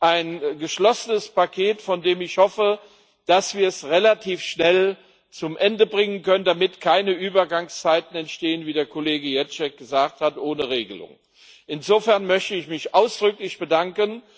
Ein geschlossenes Paket, von dem ich hoffe, dass wir es relativ schnell zu Ende bringen können, damit keine Übergangszeiten ohne Regelung entstehen, wie der Kollege Ježek gesagt hat. Insofern möchte ich mich ausdrücklich bedanken.